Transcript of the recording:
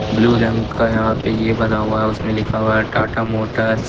Blue रंग का यहां पे ये बना हुआ है उसमें लिखा हुआ है टाटा मोटर्स ।